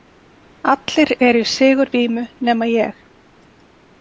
Allir eru í sigurvímu nema ég.